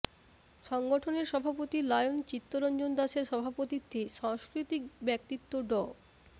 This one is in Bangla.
সংগঠনের সভাপতি লায়ন চিত্তরঞ্জন দাসের সভাপতিত্বে সাংস্কৃতিক ব্যক্তিত্ব ড